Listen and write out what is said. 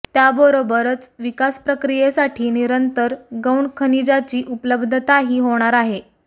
त्याबरोबरच विकास प्रक्रियेसाठी निरंतर गौण खनिजाची उपलब्धताही होणार आहे